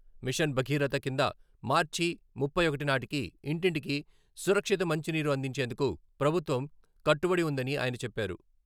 Machine Bhagiratha కింద మార్చి ముప్పై ఒకటి నాటికి ఇంటింటికి సురక్షిత మంచినీరు అందించేందుకు ప్రభుత్వం కట్టుబడి ఉందని ఆయన చెప్పారు.